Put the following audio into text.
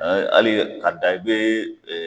hali ka dan i be